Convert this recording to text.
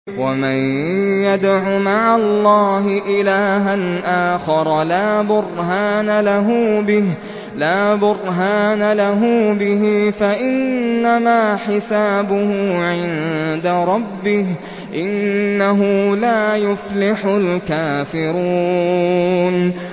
وَمَن يَدْعُ مَعَ اللَّهِ إِلَٰهًا آخَرَ لَا بُرْهَانَ لَهُ بِهِ فَإِنَّمَا حِسَابُهُ عِندَ رَبِّهِ ۚ إِنَّهُ لَا يُفْلِحُ الْكَافِرُونَ